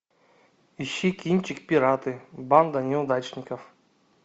ищи кинчик пираты банда неудачников